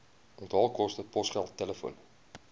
onthaalkoste posgeld telefoon